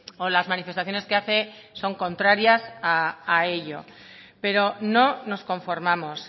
o las manifestaciones que hace son contrarias a ello pero no nos conformamos